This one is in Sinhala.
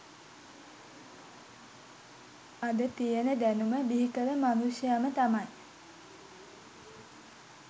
අද තියෙන දැනුම බිහිකල මනුෂ්‍යයම තමයි